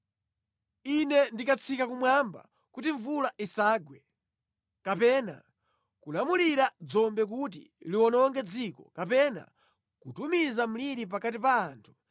“Ine ndikatseka kumwamba kuti mvula isagwe, kapena kulamulira dzombe kuti liwononge dziko, kapena kutumiza mliri pakati pa anthu,